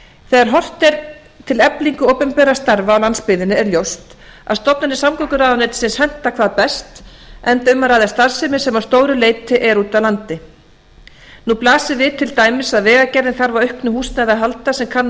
þegar horft er til eflingar opinberra starfa á landsbyggðinni er ljóst að stofnanir samgönguráðuneytisins henta hvað best enda um að ræða starfsemi sem að stóru leyti er úti á landi nú blasir við til dæmis að vegagerðin þarf á auknu húsnæði að halda sem kann að